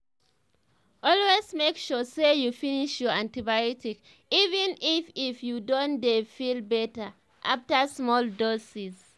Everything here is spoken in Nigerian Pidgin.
always make sure say you finish your antibiotics even if if you don dey feel better after small doses.